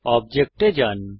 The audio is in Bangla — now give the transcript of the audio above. অবজেক্ট এ যান